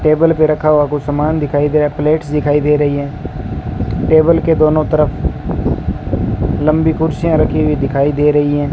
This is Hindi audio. टेबल पे रखा हुआ कुछ सामान दिखाई दिया प्लेटस दिखाई दे रही है टेबल के दोनों तरफ लंबी कुर्सियां रखी हुई दिखाई दे रही है।